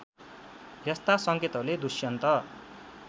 यस्ता संकेतहरूले दुष्यन्त